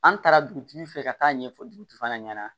An taara dugutigi fɛ ka taa ɲɛfɔ dugutigi fana ɲɛna